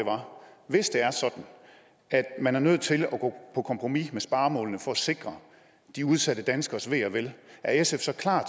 hvis det er sådan at man er nødt til at gå på kompromis med sparemålene for at sikre de udsatte danskernes ve og vel er sf så klar